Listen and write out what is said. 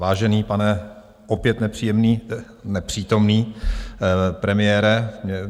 Vážený pane, opět nepříjemný - nepřítomný - premiére.